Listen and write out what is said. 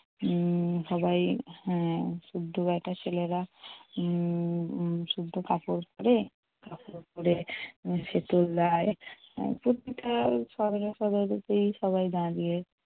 উম সবাই হম শুদ্ধ বেটা ছেলেরা উম শুদ্ধ কাপড় পরে~ কাপড় পরে প্রত্যেকে সবাই না গিয়ে